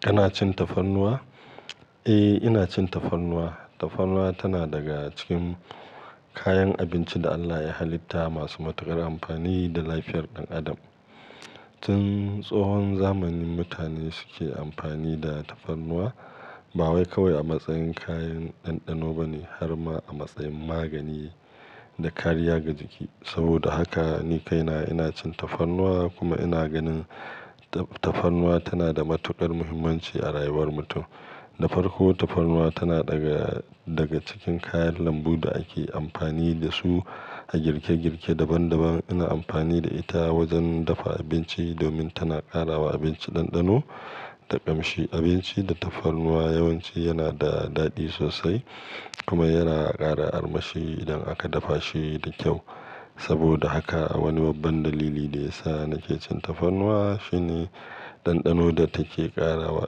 Kana cin tafarnuwa? Eh, ina cin tafarnuwa. Tafarnuwa tana daga cikin kayan abinci da Allah ya halitta masu matuƙar amfani da lafiyar ɗan adam. Tun tsohon zamani mutane suke amfani da tafarnuwa. Ba wai kawai a matsayin kayan ɗanɗano ba ne, har ma a matsayin magani da kariya ga jiki. Saboda haka ni kaina ina cin tafarnuwa kuma ina ganin tafarnuwa tana da matuƙar mahimmanci a rayuwar mutum. Dafar ko tafarnuwa tana daga, daga cikin kayan lambu da ake amfani da su a girke-girke daban-daban. Ina amfani da ita wajen dafa abinci domin tana ƙara wa abinci ɗanɗano da ƙamshi. Abinci da tafarnuwa yawanci yana da daɗi sosai kuma yana ƙara armashi idan aka dafa shi da kyau. Saboda haka a wani babban dalili da ya sa nake cin tafarnuwa shi ne ɗanɗano da take ƙara wa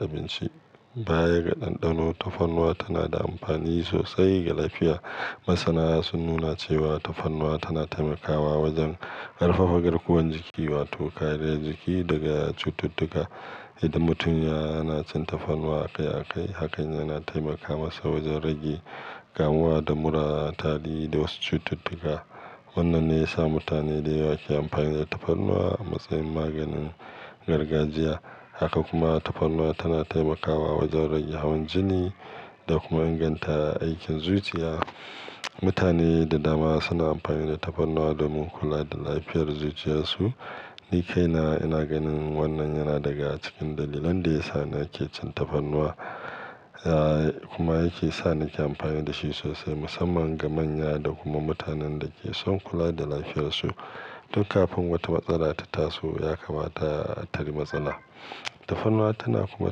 abinci. Baya da ɗanɗano, tafarnuwa tana da amfani sosai ga lafiya. Masana sun nuna cewa tafarnuwa tana taimakawa wajen ƙarfafa garkuwan jiki wato kariyar jiki daga cututtuka. Idan mutum yana cin tafarnuwa a kai a kai, haka yana taimaka masa wajen rage gamuwa da mura, tari da wasu cututtuka. Wannan ne ya sa mutane da yawa ke amfani da tafarnuwa a matsayin maganin gargajiya. Haka kuma tafarnuwa tana taimakawa wajen rage hawan jini da kuma inganta aikin zuciya. Mutane da dama suna amfani da tafarnuwa domin kula da lafiyar zuciyarsu. Ni kaina ina ganin wannan yana daga cikin dalilan da ya sa nake cin tafarnuwa, ya-- kuma yake sa nake amfani da shi sosai, musamman ga manya da kuma mutanen da ke son kula da lafiyarsu duk kafin wata matsala ta taso ya kamata ta tari matsala. Tafarnuwa tana kuma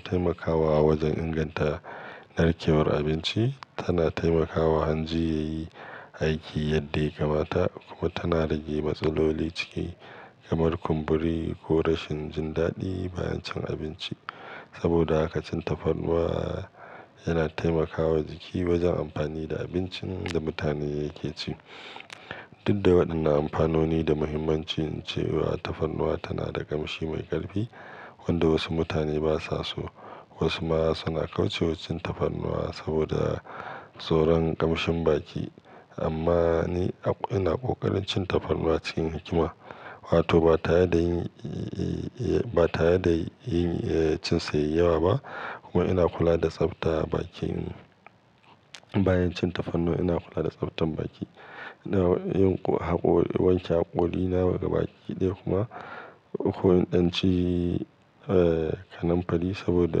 taimakawa wajen inganta narkewar abinci. Tana taimakawa hanji ya yi aiki yadda ya kamata kuma tana rage matsaloli ciki kamar kumburi ko rashin jin daɗi bayan cin abinci. Saboda haka cin tafarnuwa yana taimakawa jiki wajen amfani da abincin da mutane yake ci. Duk da waɗannan amfanoni da mahimmancin cewa tafarnuwa tana da ƙamshi mai ƙarfi wanda wasu mutane basa so, wasu ma suna kaucewa cin tafarnuwa saboda sauran ƙamshin baki. Amma ni ina ƙoƙarin cin tafarnuwa cikin hikima. Wato ba tare da yin, yi, ba tare da yin, eh, cin sai yawa ba kuma ina kula da tsafta bakin. Bayan cin tafarnuwa ina kula da tsaftan baki. Ina yin wanke haƙorina ga baki ɗaya kuma koyon ɗanci, eh, kanamfari saboda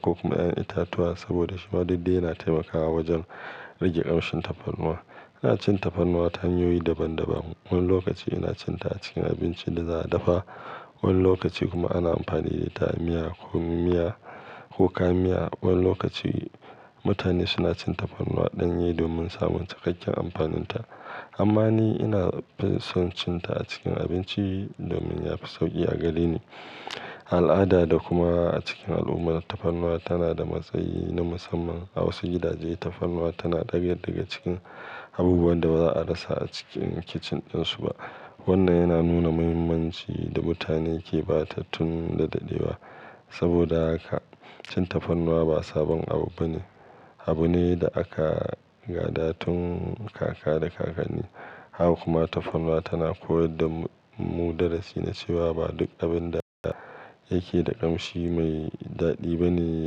ko kuma ƴaƴan itatuwa saboda shima duk dai yana taimakawa wajen rage ƙamshin tafarnuwa. Ina cin tafarnuwa ta hanyoyi daban-daban. Wani lokaci ina cin ta a cikin abincin da za a dafa, wani lokaci kuma ana amfani da ta a miya ko miya ko kayanmiya. A wani lokaci mutane suna cin tafarnuwa ɗanye domin samun cikakken amfaninta. Amma ni ina fi son cin ta a cikin abinci domin yafi sauƙi a gareni. A al'ada da kuma a cikin al'ummar tafarnuwa tana da matsayi na musamman. A wasu gidaje tafarnuwa tana daya daga cikin abubuwan da ba za a rasa a cikin kicin ɗinsu ba. Wannan yana nuna mahimmancin da mutane ke bata tun dadaddewa. Saboda haka cin tafarnuwa ba sabon abu bane. Abu ne da aka gada tun kaka da kakanni. Haka kuma tafarnuwa tana koyar da mu darasi na cewa ba duk abin da yake da ƙamshi mai daɗi ba ne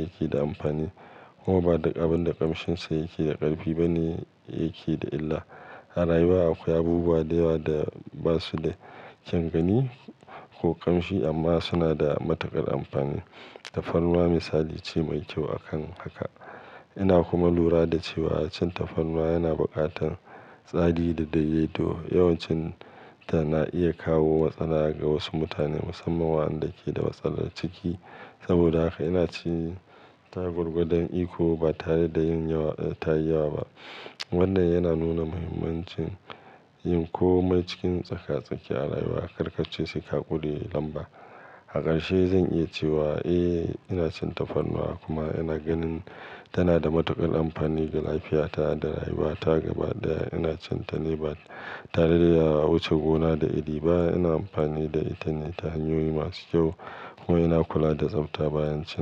yake da amfani, kuma ba duk abin da ƙamishinsa yake da ƙarfi ba ne yake da illa. A rayuwa akwai abubuwa da yawa da basu da kyangani ko ƙamshi amma suna da matuƙar amfani. Tafarnuwa misali ce mai kyau a kan haka. Ina kuma lura da cewa cin tafarnuwa yana buƙatar tsari da dai duk. Yawancinta na iya kawo matsala ga wasu mutane musamman waɗanda ke da matsalar ciki. Saboda haka ina cin ta gwargwadan iko ba tare da yin yawa, tayi yawa ba. Wannan yana nuna mahimmancin yin komai cikin tsaka-tsaki a rayuwa. Karkace sai ka ƙure lamba. A ƙarshe zan iya cewa eh, ina cin tafarnuwa kuma ina ganin tana da matuƙar amfani ga lafiya, ta da rayuwa ta gaba da ina cin ta ni ba tare da ya wuce gona da eri ba. Ina amfani da ita ne ta hanyoyi masu kyau kuma ina kula da tsafta bayan cin ta.